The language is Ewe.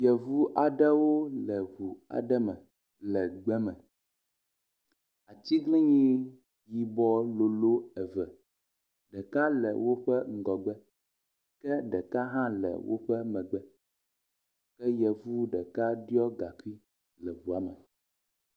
Yvu aɖewo le du aɖe me le gbe me. Atiglinyi yibɔ lolo eve. Ɖeka le woƒe ŋgɔgbe ke ɖeka hã le woƒe megbe ke yevu ɖeka ɖɔ gaŋkui le ŋua me.